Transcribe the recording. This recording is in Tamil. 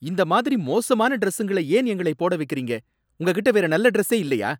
இந்த மாதிரி மோசமான டிரஸ்ஸுங்களை ஏன் எங்களை போட வைக்கிறீங்க? உங்ககிட்ட வேற நல்ல டிரஸ்சே இல்லையா?